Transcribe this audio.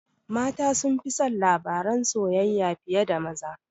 Mata sunfi son labaran soyayya fiye da maza